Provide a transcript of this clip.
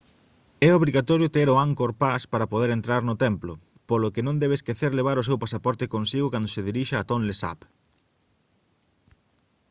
é obrigatorio ter o angkor pass para poder entrar no templo polo que non debe esquecer levar o seu pasaporte consigo cando se dirixa a tonle sap